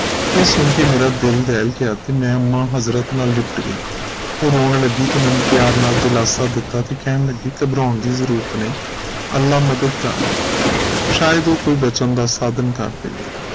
ਇਹ ਸੁਨ ਕੇ ਮੇਰਾ ਦਿਲ ਦਹਿਲ ਗਿਆ ਤੇ ਮੈਂ ਅੰਮਾ ਹਜ਼ਰਤ ਨਾਲ ਲਿਪਟ ਗਈ ਉਹ ਰੌਣ ਲੱਗੀ ਤੇ ਮੰਨੂ ਪਿਆਰ ਨਾਲ ਦਿਲਾਸਾ ਦਿਤਾ ਤੇ ਕਹਿਣ ਲਗੀ ਕਿ ਘਬਰਾਉਣ ਦੀ ਜ਼ਰੂਰਤ ਨਹੀਂ ਅਲਾਹ ਮਦਦਗਾਰ ਹੈ ਸ਼ਾਇਦ ਉਹ ਕੋਈ ਬਚਨ ਦਾ ਸਾਧਨ ਕੱਢ ਦੇਵੇ